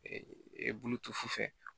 Bulu to sufɛ